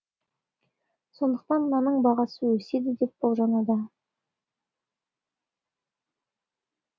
сондықтан нанның бағасы өседі деп болжануда